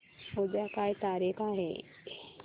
उद्या काय तारीख आहे